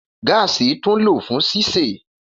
Gaasi tun lo fun sise.